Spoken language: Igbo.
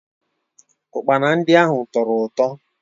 Ụkpana ndị ahụ tọrọ ụtọ